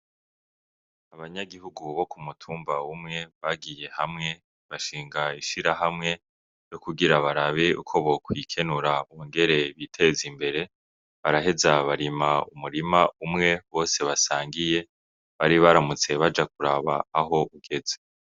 Abanyagihugu bo ku mutumba umwe bagiye hamwe bashinga ishirihamwe ryokugira barabe uko bokwikenura bongere biteze imbere baraheza barima umurima umwe bose basangiye bari baramutse baja kuraba aho ugeze.